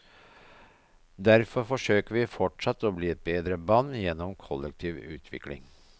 Derfor forsøker vi fortsatt å bli et bedre band gjennom kollektiv utvikling.